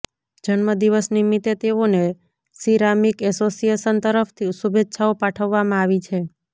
જન્મ દિવસ નિમિતે તેઓને સીરામીક એસોસિએશન તરફ થી શુભેચ્છાઓ પાઠવવામાં આવી છે